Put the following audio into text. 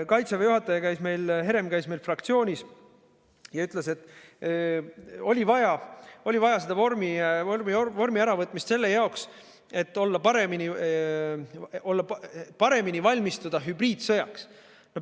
Kaitseväe juhataja Herem käis meil fraktsioonis ja ütles, et vorm oli vaja ära võtta selle jaoks, et paremini valmistuda hübriidsõjaks.